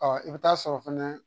Ɔ i bɛ taa sɔrɔ fɛnɛ